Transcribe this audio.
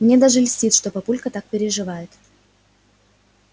мне даже льстит что папулька так переживает